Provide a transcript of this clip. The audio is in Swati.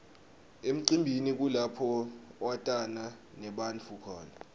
emcimbini kulapho watana nebantfu khona